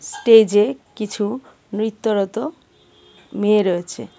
স্টেজে কিছু নৃত্যরত মেয়ে রয়েছে।